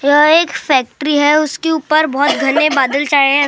यह एक फैक्ट्री है उसके ऊपर बहोत घने बादल छाये है।